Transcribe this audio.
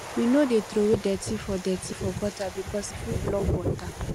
we no dey troway dirty for dirty for gutter because e fit block water